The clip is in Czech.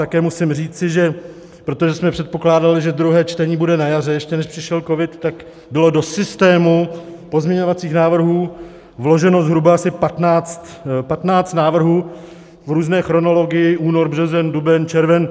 Také musím říci, že, protože jsme předpokládali, že druhé čtení bude na jaře, ještě než přišel covid, tak bylo do systému pozměňovacích návrhů vloženo zhruba asi 15 návrhů v různé chronologii - únor, březen, duben, červen.